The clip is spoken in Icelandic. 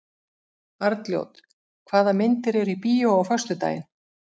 Arnljót, hvaða myndir eru í bíó á föstudaginn?